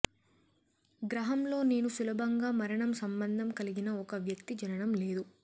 గ్రహంలో నేను సులభంగా మరణం సంబంధం కలిగిన ఒక వ్యక్తి జననం లేదు